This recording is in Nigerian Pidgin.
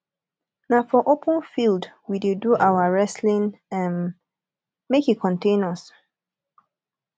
na for open field we dey do our wrestling um make e contain us